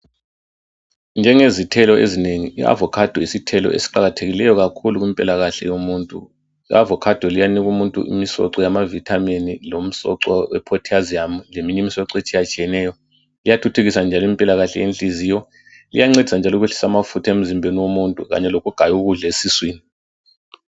Njengezithelo ezinengi i avocado yisithelo eliqakathekileyo kakhulu kumpilakahle yomuntu I avocado liyanika umuntu umisoco yamavitamini lomsoco we potassium leminye imisoco etshiyatshiyeneyo liyathuthukisa njalo impilakahle yenhliziyo liyancedisa njalo ukwehlisa amafutha emzimbeni womuntu kanye lokugaya ukudla esiswini.